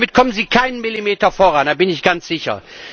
Damit kommen Sie keinen Millimeter voran, da bin ich ganz sicher.